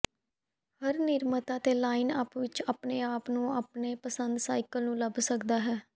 ਹਰ ਨਿਰਮਾਤਾ ਦੇ ਲਾਈਨਅੱਪ ਵਿਚ ਆਪਣੇ ਆਪ ਨੂੰ ਆਪਣੇ ਪਸੰਦ ਸਾਈਕਲ ਨੂੰ ਲੱਭ ਸਕਦਾ ਹੈ